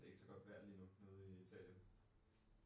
Det ikke så godt vejr lige nu. Nede i Italien